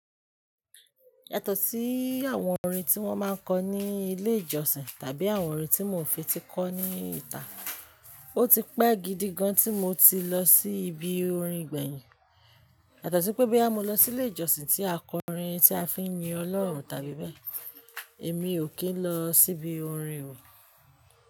Yàtọ̀ sí àwọn orin tí wọ́n má ń kọ ní ilé ìjọsìn tàbí àwọn orin tí mo fi ti kọ́ ní ìta, ó ti pẹ́ gidi gan tí mo ti lọ sí ibi orin gbẹ̀yìn. Yàtọ̀ sí pé bí a mo lọ sí ilé ìjọsìn tí a kọ orin tí a fi ń yin Ọlọ́run tàbí bẹ́ẹ̀, èmi ò kí ń lọ sí ibi orin o.